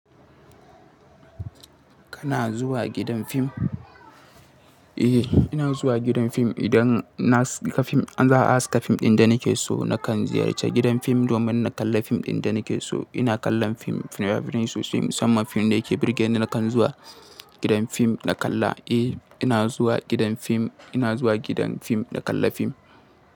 Kana zuwa gidan fim? Eh, ina zuwa gidan fim. Idan na haska fim, za a haska fim ɗin da nake so. Nakan ziyarci gidan fim domin na kalla fim ɗin da nake so. Ina kallon fim, fina-finai sosai. Musamman fim da yake burge ni, nakan zuwa gidan fim na kalla. Eh, ina zuwa gidan fim. Ina zuwa gidan fim na kalla fim.